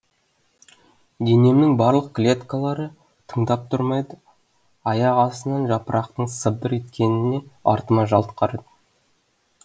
денемнің барлық клеткалары тыңдап тұр ма еді аяқ астынан жапырақтың сыбдыр еткеніне артыма жалт қарадым